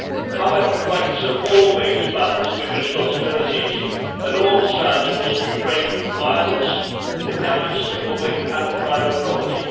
However, rights are always balanced with responsibilities, and all sides must refrain from violence and damage to public and private property.